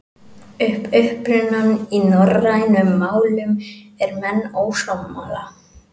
Um upprunann í norrænum málum eru menn ósammála.